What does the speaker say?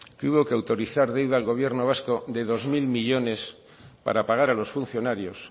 que hubo que autorizar deuda al gobierno vasco de dos mil millónes para pagar a los funcionarios